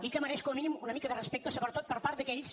i que mereix com a mínim una mica de respecte sobretot per part d’aquells